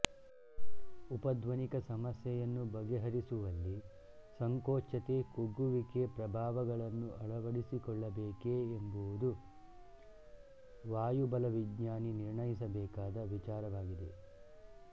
ಉಪಧ್ವನಿಕ ಸಮಸ್ಯೆಯನ್ನು ಬಗೆಹರಿಸುವಲ್ಲಿ ಸಂಕೋಚ್ಯತೆಕುಗ್ಗುವಿಕೆ ಪ್ರಭಾವಗಳನ್ನು ಅಳವಡಿಸಿಕೊಳ್ಳಬೇಕೇ ಎಂಬುದು ವಾಯುಬಲವಿಜ್ಞಾನಿ ನಿರ್ಣಯಿಸಬೇಕಾದ ವಿಚಾರವಾಗಿದೆ